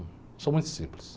Eu sou muito simples.